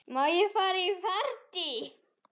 Má ég fara í partí?